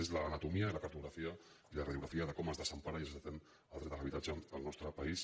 és l’anatomia i la cartografia i la radio·grafia de com es desempara i es desatén el dret a l’ha·bitatge en el nostre país